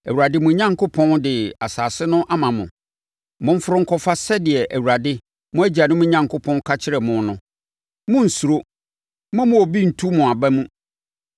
Awurade, mo Onyankopɔn, de asase no ama mo. Momforo nkɔfa sɛdeɛ Awurade, mo agyanom Onyankopɔn, ka kyerɛɛ mo no. Monnsuro: mommma obi ntu mo aba mu.”